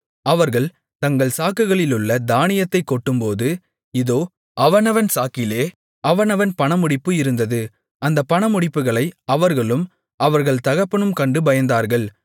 அவர்கள் தங்கள் சாக்குகளிலுள்ள தானியத்தைக் கொட்டும்போது இதோ அவனவன் சாக்கிலே அவனவன் பணமுடிப்பு இருந்தது அந்த பணமுடிப்புகளை அவர்களும் அவர்கள் தகப்பனும் கண்டு பயந்தார்கள்